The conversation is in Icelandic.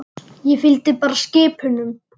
Ég fylgdi bara skip unum.